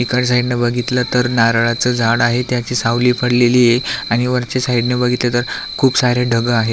इकडच्या साइडन बगीतल तर नारळाच झाड आहे त्याची सावली पडलेलीय आणि वरच्या साइडन बगीतल तर खूप सारे ढग आहे.